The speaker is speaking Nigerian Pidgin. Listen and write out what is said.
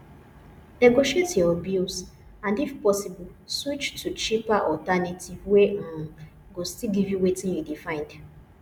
negotiate your bills and if possible switch to cheaper alternatives wey um go still give you wetin you dey find